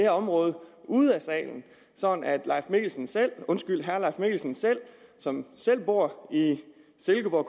område ude af salen sådan at herre leif mikkelsen som selv bor i silkeborg